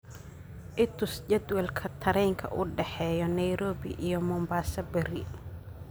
i tus jadwalka tareenka u dhexeeya nairobi iyo mombasa berri